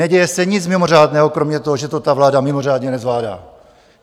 Neděje se nic mimořádného kromě toho, že to ta vláda mimořádně nezvládá.